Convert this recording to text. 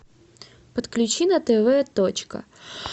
подключи на тв точка